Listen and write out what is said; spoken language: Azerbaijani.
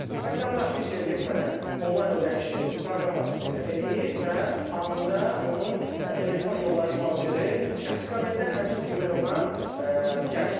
Vətəndaş heç yerə getmədən onlayn ödənişi proqram vasitəsilə eləyir və anında onun elektron yollayış vauçeri şəxsi kabinetdə, həmçinin emailinə gəlir.